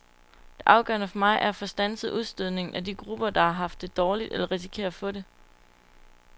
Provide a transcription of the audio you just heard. Det afgørende for mig er at få standset udstødningen af de grupper, der har haft det dårligt eller risikerer at få det.